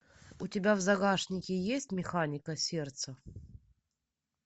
у тебя в загашнике есть механика сердца